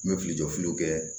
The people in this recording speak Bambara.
N bɛ fili jɔfiliw kɛ